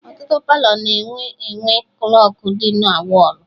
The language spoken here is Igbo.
Ọtụtụ Palọ na-enwe enwe klọkụ dị na wọlụ